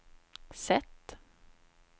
sätt